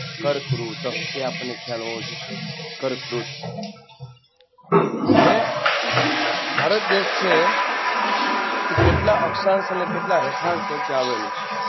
કર્કવૃત એ આપણને ખ્યાલ હોવો જોઈએ કર્કવૃ હવે ભારત દેશ છે એ કેટલા અક્ષાંશ અને કેટલા રેખાંશ વચ્ચે આવેલુ છે?